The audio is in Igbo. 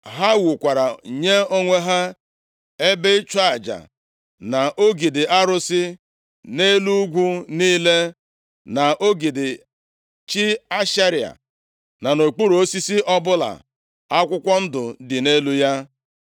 Ha wukwara nye onwe ha ebe ịchụ aja na ogidi arụsị nʼelu ugwu niile, na ogidi chi Ashera, na nʼokpuru osisi ọbụla akwụkwọ ndụ dị nʼelu ya. + 14:23 Mgbe ndị Izrel wuru ebe ịchụ aja na ogidi arụsị, ha nupuru isi site nʼiwu Chineke nyere ha nʼakwụkwọ \+xt Ọpụ 23:24; 34:13-14; Dit 7:5; 12:2-3\+xt*